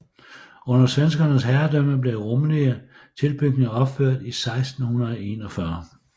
Under svenskernes herredømme blev rummelige tilbygninger opført i 1641